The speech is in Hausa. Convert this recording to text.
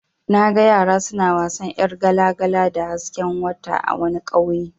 Naga yara suna wasan yar gala-gala da hasken wata a wani ƙauye.